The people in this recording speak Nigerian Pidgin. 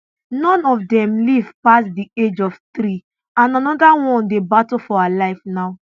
none of dem live pass di age of three and anoda one dey battle for her life now